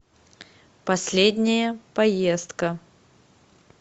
последняя поездка